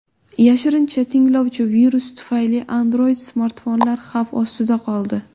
Yashirincha tinglovchi virus tufayli Android-smartfonlar xavf ostida qoldi.